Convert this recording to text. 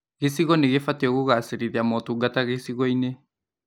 Gĩcigo nĩ gībatiĩ kũgacĩrithia motungata gĩcigo-inĩ